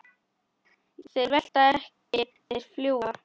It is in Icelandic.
Þeir velta ekki, þeir fljúga.